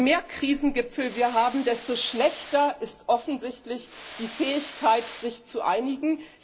Je mehr Krisengipfel wir haben, desto geringer ist offensichtlich die Fähigkeit, sich zu einigen.